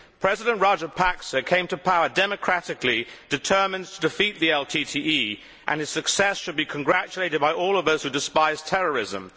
President Rajapaksa came to power democratically, determined to defeat the LTTE, and his success should be congratulated by all of us who despise terrorism.